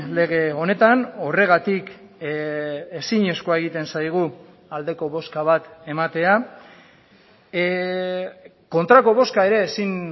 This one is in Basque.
lege honetan horregatik ezinezkoa egiten zaigu aldeko bozka bat ematea kontrako bozka ere ezin